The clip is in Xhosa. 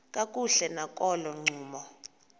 kakuhle nakolo ncumo